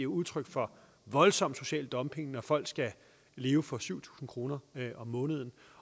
udtryk for voldsom social dumping når folk skal leve for syv tusind kroner om måneden